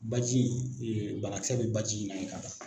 Baji banakisɛ bɛ baji in na ye ka ban.